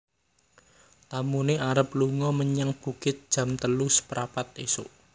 Tamune arep lungo menyang bukit jam telu seprapat isuk